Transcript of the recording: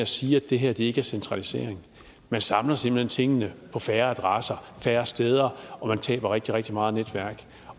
siger at det her ikke er centralisering man samler simpelt hen tingene på færre adresser færre steder og man taber rigtig rigtig meget netværk